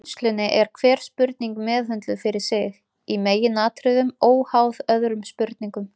Í vinnslunni er hver spurning meðhöndluð fyrir sig, í meginatriðum óháð öðrum spurningum.